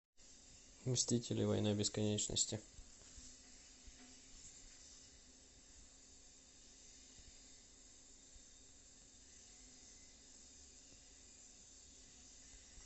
мстители война бесконечности